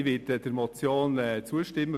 Ich werde der Motion zustimmen.